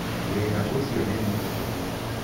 Wĩra ũcio nĩ mũhũthũ mũno.